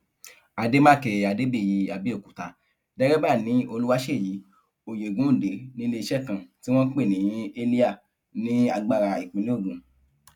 àdèmàkè adébíyì abẹòkúta dérèbà ni olùwáṣẹyí oyegundé níléeṣẹ kan tí wọn ń pè ní halya ní agbára ìpínlẹ ogun